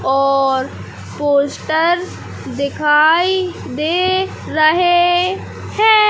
और पोस्टर दिखाई दे रहे है।